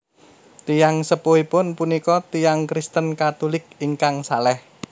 Tiyang sepuhipun punika tiyang Kristen Katulik ingkang salèh